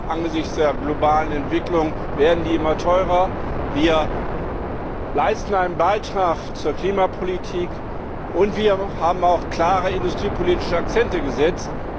angesichts der globalen Entwicklung werden die immer teurer wir leisten einen Beitrag zur Klimapolitik, und wir haben auch klare industriepolitische Akzente gesetzt.